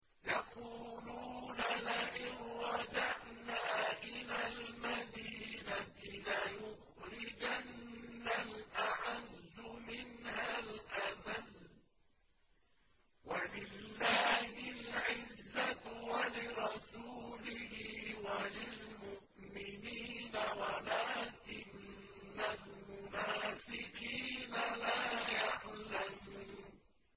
يَقُولُونَ لَئِن رَّجَعْنَا إِلَى الْمَدِينَةِ لَيُخْرِجَنَّ الْأَعَزُّ مِنْهَا الْأَذَلَّ ۚ وَلِلَّهِ الْعِزَّةُ وَلِرَسُولِهِ وَلِلْمُؤْمِنِينَ وَلَٰكِنَّ الْمُنَافِقِينَ لَا يَعْلَمُونَ